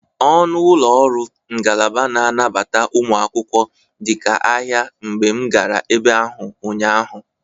Ọnụ ụlọ ọrụ ngalaba na-anabata ụmụ akwụkwọ dịka ahịa mgbe m gara ebe ahụ ụnyaahụ.